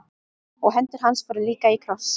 Og hendur hans voru líka í kross.